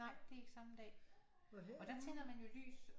Nej det er ikke samme dag og der tænder man jo lys